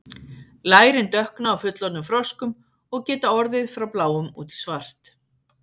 lærin dökkna á fullorðnum froskum og geta orðið frá bláum út í svart